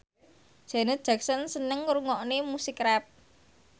Janet Jackson seneng ngrungokne musik rap